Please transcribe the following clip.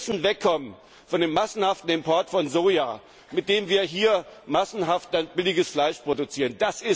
Wir müssen wegkommen von dem massenhaften Import von Soja, mit dem wir hier massenhaft billiges Fleisch produzieren.